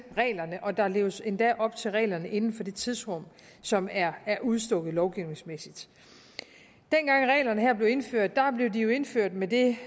reglerne og der leves endda op til reglerne inden for det tidsrum som er udstukket lovgivningsmæssigt dengang reglerne her blev indført blev de jo indført med det